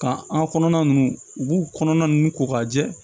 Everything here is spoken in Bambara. Ka an kɔnɔna ninnu u b'u kɔnɔna ninnu ko k'a jɛ